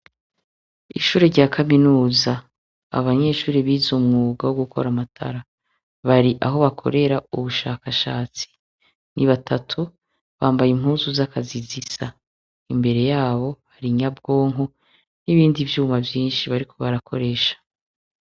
Ishure ryakaminuza abanyeshure bize umwuga wogukora amatara bari ahobakorera ubushakashatsi ni batatu bambaye impuzu zakazi zisa imbere yabo hari inyabwonko nibindi vyuma vyinshi bariko barakoresha